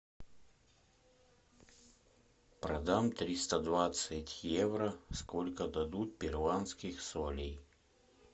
продам триста двадцать евро сколько дадут перуанских солей